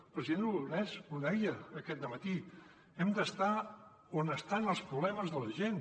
el president aragonès ho deia aquest dematí hem d’estar on estan els problemes de la gent